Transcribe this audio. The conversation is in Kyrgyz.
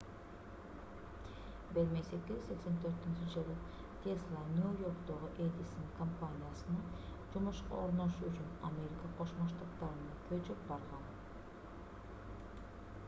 1884-жылы тесла нью-йорктогу эдисон компаниясына жумушка орношуу үчүн америка кошмо штаттарына көчүп барган